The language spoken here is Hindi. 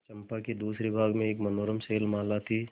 चंपा के दूसरे भाग में एक मनोरम शैलमाला थी